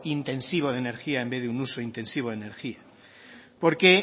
intensivo de energía en vez de un uso intensivo de energía porque